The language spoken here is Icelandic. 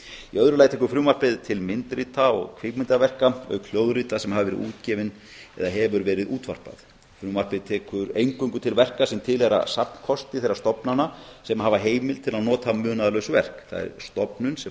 í öðru lagi tekur frumvarpið til myndrita og kvikmyndaverka auk hljóðrita sem hafa verið útgefin eða hefur verið útvarpað frumvarpið tekur eingöngu til verka sem tilheyra safnkosti þeirra stofnana sem hafa heimild til að nota munaðarlaus verk það er stofnun sem